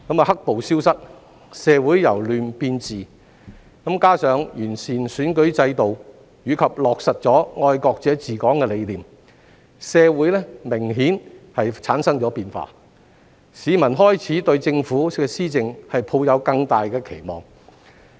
"黑暴"消失、社會由亂變治，加上完善了選舉制度，以及落實了"愛國者治港"的理念，社會明顯產生了變化，市民開始對政府的施政抱有更大期望。